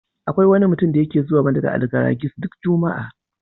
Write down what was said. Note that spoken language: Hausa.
Akwai wani mutum da yake zuwar mana da Algaragis duk juma'a.